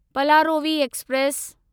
पलारोवी express